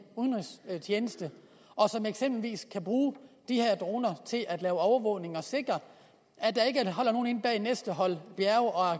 udenrigstjeneste og som eksempelvis skal bruge de her droner til at lave overvågning og sikre at der ikke holder nogen inde bag næste hold bjerge og